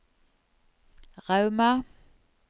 Rauma